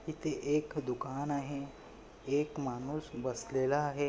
इथे एक दूकान आहे. एक माणूस बसलेला आहे.